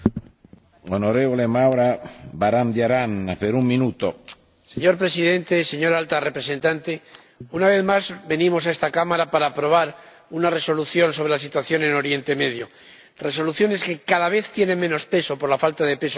Señor Presidente, señora Alta Representante, una vez más venimos a esta Cámara para aprobar una Resolución sobre la situación en Oriente Próximo. Resoluciones que cada vez tienen menos peso, por la falta de peso político y capacidad de actuación que la Unión tiene en asuntos exteriores